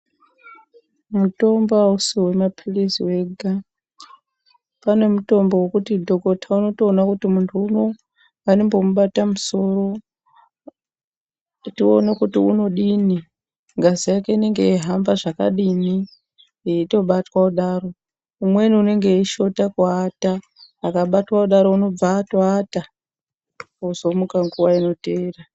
Mutombo ausi wemapilizi wega panemutombo wekuti dhokota unotoona kuti munhu uno ngandimbomubata musoro tione kuti unodini ngazi yake inonge yeihamba zvakadini eitobatwa kudaro umweni unonge eishota kuata akabatwa kudaro unobva aata ozomuka nguwa inoteera.